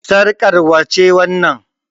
Sarƙar wace wannan?